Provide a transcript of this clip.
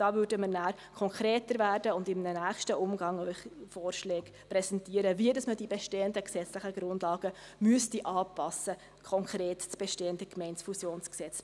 Da würden wir nachher konkreter werden und Ihnen in einem nächsten Umgang Vorschläge präsentieren, wie man die bestehenden gesetzlichen Grundlagen anpassen müsste, konkret: das bestehende Gemeindefusionsgesetz.